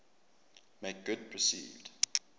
make good perceived